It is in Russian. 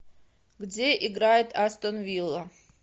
где играет астон вилла